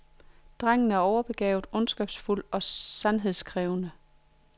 Drengen er overbegavet, ondskabsfuld og sandhedskrævende.